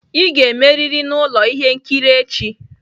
Ị ga-emerịrị na ụlọ ihe nkiri echi!